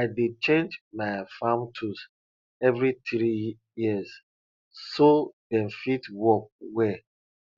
i dey change my farm tools every three years so dem fit work well